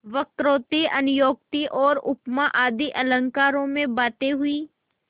वक्रोक्ति अन्योक्ति और उपमा आदि अलंकारों में बातें हुईं